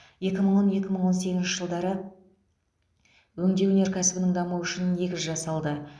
екі мың он екі мың сегізінші жылдары өңдеу өнеркәсібінің дамуы үшін негіз жасалды